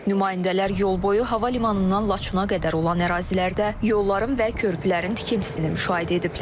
Nümayəndələr yolboyu hava limanından Laçına qədər olan ərazilərdə yolların və körpülərin tikintisini müşahidə ediblər.